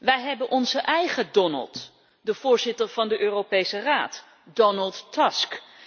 Wij hebben onze eigen Donald, de voorzitter van de Europese Raad, Donald Tusk.